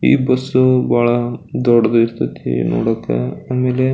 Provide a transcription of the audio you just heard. ಈ ಬಸ್ಸ ಬಹಳ ದೊಡ್ಡದಿರ್ತತಿ ನೋಡಾಕ ಆಮೇಲೆ --